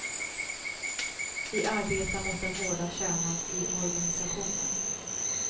Vi arbetar mot den hårda kärnan i organisationen.